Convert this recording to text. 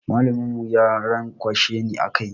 Mallamin mu ya ranƙwashe ni a kai.